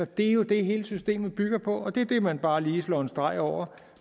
det er jo det hele systemet bygger på og det er det man bare lige slår en streg over